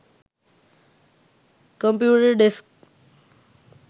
computer desk